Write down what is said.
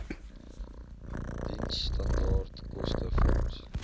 diensstandaard koste vorms